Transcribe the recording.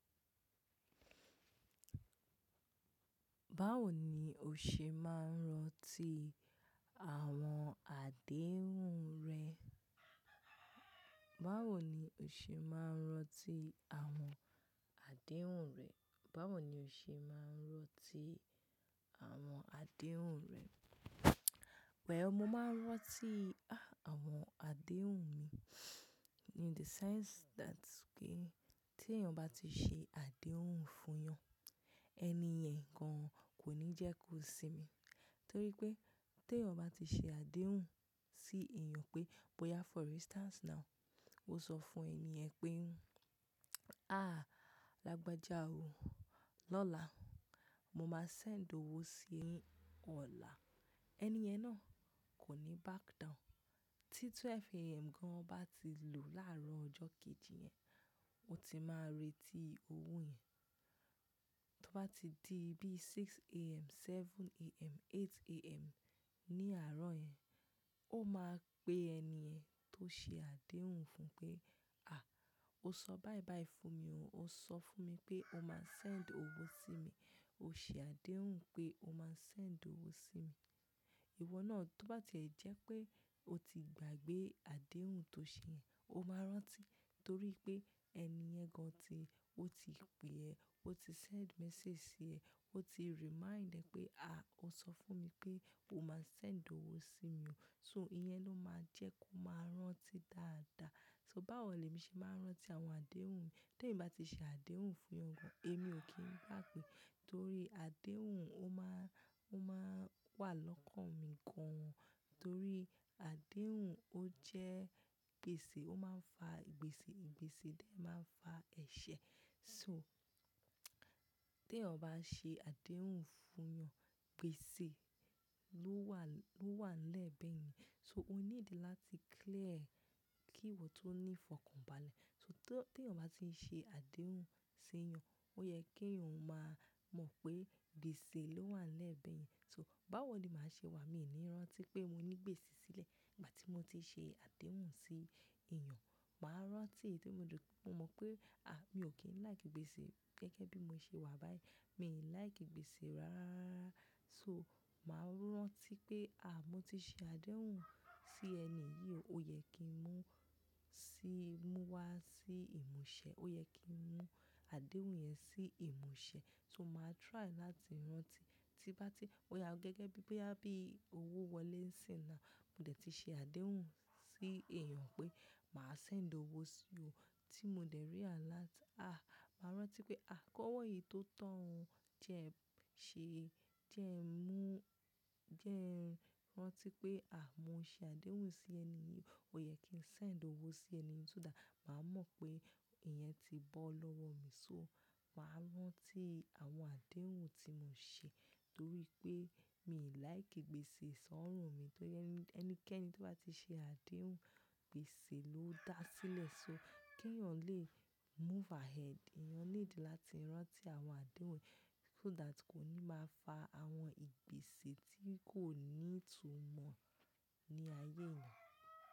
Báwo ni o ṣe máa ń rántí àwọn àdéhùn rẹ? Báwo ni o ṣe máa ń rántí àwọn àdéhùn rẹ? Báwo ni o ṣe máa ń rántí àwọn àdéhùn rẹ? Well, mo máa ń rántí ah, a mo àdéhùn mi. In the sense that pé tí ẹyan bá ti ṣe àdéhùn fún yan, ẹni yẹn gan kò ní jẹ́ kó sinmi. Torí pé te yan bá ti ṣe àdéhùn sí èèyàn pé, boya for instance now, mo sọ fún èni yen pé, "Àhá, lágbájá o, lọ́la mo máa send owó sí ọ lá." Ẹni yẹn náà kò ní back down. Tí twelve AM gan bá ti lu láàárọ̀ ọjọ́ kejì yẹn, ó ti máa retí owó yẹn. To bá ti di bí six AM, seven AM, eight AM ní àárọ̀ yẹn, ó máa pe ẹni yẹn tó ṣe àdéhùn fún pé, "Àh, o sọ báí báí fún mi o. O sọ fún mi pé o máa send owó sí mi. O ṣe àdéhùn pé o máa send owó sí mi." Ìwọ náà tó bá ti jẹ́ pé o ti gbàgbé àdéhùn tó ṣe yẹn, o máa rántí torí pé ẹni yẹn gan ti-- ó ti pe ẹ, ó ti send message sí ẹ, ó ti remind ẹ pé, "À, o sọ fún mi pé o máa send owó sí mi o." So ìyẹn ló máa jẹ́ kó máa rántí dáadáa. So báwo le mi ṣe máa ń rántí àwọn àdéhùn mi? Tí èmi bá ti ṣe àdéhùn fún ẹya kan, èmi ò kí ń gbagba torí àdéhùn ó máa, ó máa wà lọ́kàn mi gan. Torí àdéhùn ó jẹ́ gbèsè, ó máa ń fa ìgbésè, ìgbésè de máa ń fa ẹ̀ṣẹ̀. So te yan bá ṣe àdéhùn fún yan, gbèsè ló wà, ló wà n lẹ́ẹ̀ bẹ̀ yẹn. So o need láti clear kí ìwọ tó ní fọkànbalẹ̀. So to, te yan bá ti ṣe àdéhùn se yan, ó yẹ kí oun máa mọ̀ pé gbèsè ló wà nle bẹ̀ yẹn. So, báwo ni màá ṣe wà Mi ò ní rántí pé mo ní gbèsè sílẹ̀ ìgbà tí mo ti ṣe àdéhùn sí èèyàn. Màá rántí e tori mo mọ̀ pé, àh, mi ò kí ń like gbèsè gẹ́gẹ́ bí mo ṣe wà báyìí. Mi like gbèsè rárárarara. So màá rántí pé, à, mo ti ṣe àdéhùn sí ẹni yìí, ó yẹ kí n mú sí, mú wá sí ìmúṣẹ. Ó yẹ kí n mú àdéhùn yẹn sí ìmúṣẹ. So màá try láti rántí tí bá tí, boya gẹ́gẹ́ bí i pé a bí owó wọlé ńsìn ná, mo dẹ̀ ti ṣe àdéhùn sí èèyàn pé màá send owó sí ọ, tí mo dẹ̀ rí alert, àh, màá rántí pé, àh, kówó yìí tó tan ọ jẹ, ṣe jẹ́ ẹ mú, jẹ́ ẹ rántí pé, àh, mo ṣe àdéhùn sí ẹni yìí, ó yẹ kí n send owó sí ẹni yìí so that màá mọ̀ pé ìyẹn ti bọ́ lọ́wọ́ mi. So màá rántí àwọn àdéhùn tí mo ṣe torí pé mi ò like gbèsè sọ́rùn mi torí ẹnikẹ́ni tí bá ti ṣe àdéhùn, gbèsè ló dá sílẹ̀. So, kí èèyàn lè move ahead, èèyàn need láti rántí àwọn àdéhùn so that kò ní máa fa àwọn ìgbésè tí kò ní ìtumọ̀ ní ayé èèyàn.